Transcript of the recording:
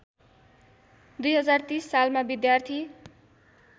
२०३० सालमा विद्यार्थी